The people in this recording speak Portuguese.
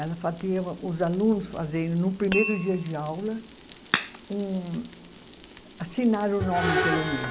Ela fazia os alunos fazerem, no primeiro dia de aula, um assinar o nome pelo menos.